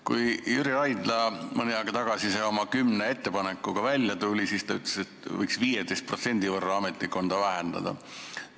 Kui Jüri Raidla mõni aeg tagasi oma kümne ettepanekuga välja tuli, siis ta ütles, et võiks 15% võrra ametnikkonda vähendada.